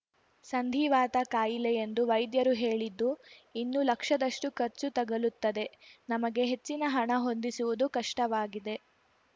ಸಂಧಿವಾತ ಖಾಯಿಲೆ ಎಂದು ವೈಧ್ಯರು ಹೇಳಿದ್ದು ಇನ್ನೂ ಲಕ್ಷದಷ್ಟು ಖರ್ಚು ತಗಲುತ್ತದೆ ನಮಗೆ ಹೆಚ್ಚಿನ ಹಣ ಹೊಂದಿಸುವುದು ಕಷ್ಟವಾಗಿದೆ